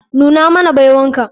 Nuna mana baiwan ka.